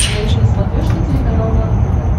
найти на смотрешке телеканал нано тв